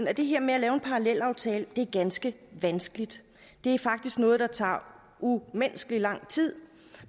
at det her med at lave en parallelaftale er ganske vanskeligt det er faktisk noget der tager umenneskelig lang tid